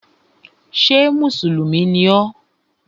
Ṣé mùsùlùmí ni ọ?